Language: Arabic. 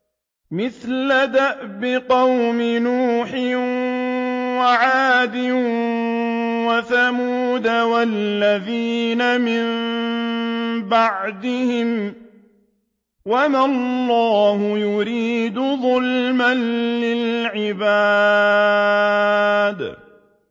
مِثْلَ دَأْبِ قَوْمِ نُوحٍ وَعَادٍ وَثَمُودَ وَالَّذِينَ مِن بَعْدِهِمْ ۚ وَمَا اللَّهُ يُرِيدُ ظُلْمًا لِّلْعِبَادِ